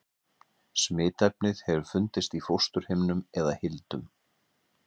Smitefnið hefur fundist í fósturhimnum eða hildum.